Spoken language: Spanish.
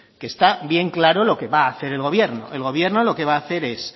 que está bien claro lo que va a hacer el gobierno el gobierno lo que va a hacer es